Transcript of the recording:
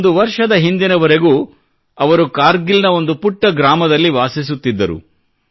ಒಂದು ವರ್ಷದ ಹಿಂದಿನವರೆಗೂ ಅವರು ಕಾರ್ಗಿಲ್ ನ ಒಂದು ಪುಟ್ಟ ಗ್ರಾಮದಲ್ಲಿ ವಾಸಿಸುತ್ತಿದ್ದರು